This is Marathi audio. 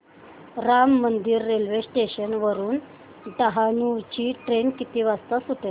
राम मंदिर रेल्वे स्टेशन वरुन डहाणू ची ट्रेन किती वाजता सुटेल